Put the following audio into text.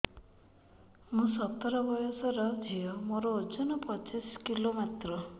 ମୁଁ ସତର ବୟସର ଝିଅ ମୋର ଓଜନ ପଚିଶି କିଲୋ ମାତ୍ର